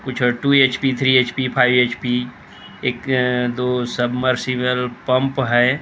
कुछ two HP three HP five HP एक दो सबमर्सिबल पंप है।